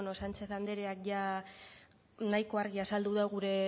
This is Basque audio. sánchez andreak nahiko argi azaldu du gure